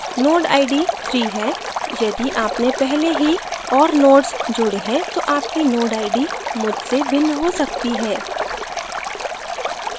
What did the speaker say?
node id 3 है यदि आपने पहले ही और nodes जोडे हैं तो आपकी node id मुझसे भिन्न हो सकती है